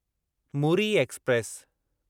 Muri express